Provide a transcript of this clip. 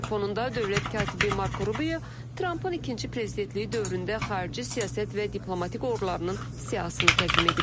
Bunun fonunda dövlət katibi Marko Rubio Trump-ın ikinci prezidentliyi dövründə xarici siyasət və diplomatik uğurlarının siyahısını təqdim edib.